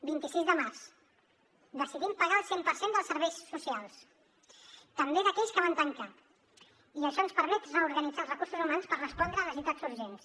vint sis de març decidim pagar el cent per cent dels serveis socials també d’aquells que van tancar i això ens permet reorganitzar els recursos humans per respondre a necessitats urgents